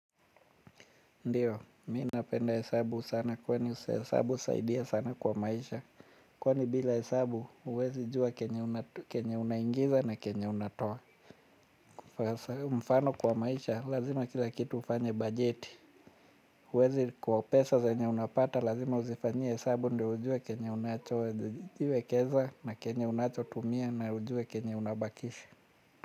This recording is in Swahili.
Ndiyo, mi napenda hesabu sana kwani hesabu husaidia sana kwa maisha. Kwani bila hesabu huwezi jua kenye unangiza na kenye unatoa. Mfano kwa maisha lazima kila kitu ufanye bajeti. Uwazi kwa pesa zenye unapata lazima uzifanyie hesabu ndio ujue kenye unachojiwekeza na kenye unachotumia na ujue kenye unabakisha.